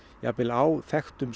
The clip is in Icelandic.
á þekktum